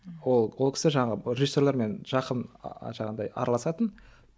ол ол кісі жаңағы режиссерлермен жақын ы жаңағыдай араласатын